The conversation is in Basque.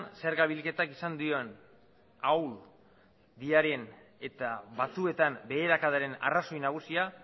zerga bilketak izan duen ahulera eta batzuetan beherakadaren arrazoi nagusiena